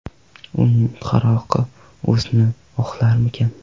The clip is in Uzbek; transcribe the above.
Uning qaroqi o‘zini oqlarmikan?